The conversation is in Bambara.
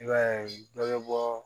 I b'a ye dɔ bɛ bɔ